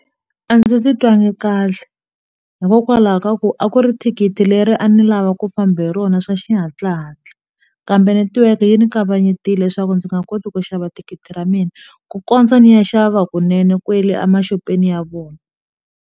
A ndzi titwangi kahle hikokwalaho ka ku a ku ri thikithi leri a ni lava ku famba hi rona swa xihatla hatla kambe netiweke yi ni kavanyetile leswaku ndzi nga koti ku xava thikithi ra mina ku kondza ni ya xava kunene kwele e ma shopeni ya vona.